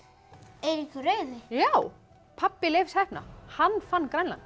Eiríkur rauði já pabbi Leifs heppna hann fann Grænland